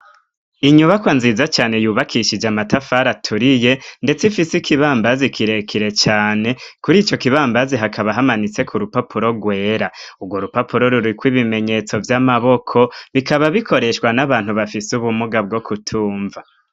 Inyubakwa nziza cane yubakishije amatafari aturiye ndetse ifise ikibambazi kirekire cyane kuri icyo kibambazi hakaba hamanitse ku rupapuro rwera, ubwo rupapuro rurikwa ibimenyetso by'amaboko bikaba bikoreshwa n'abantu bafise ubumuga bwo kutumva.